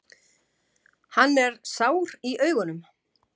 Hann er sár í augunum.